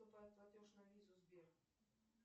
поступает платеж на визу сбер